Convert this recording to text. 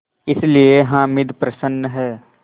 इसलिए हामिद प्रसन्न है